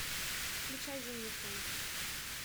включай зимний сон